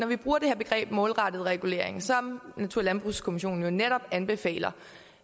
vi bruger det her begreb om målrettet regulering som natur og landbrugskommissionen jo netop anbefaler